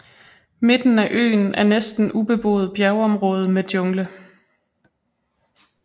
Midten af øen er næsten ubeboet bjergområde med jungle